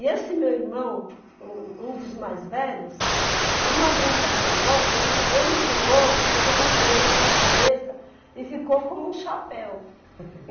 E esse meu irmão, um um dos mais velhos, numa brincadeira nossa, um jo ele me jogou um mamão podre na minha cabeça e ficou como um chapéu.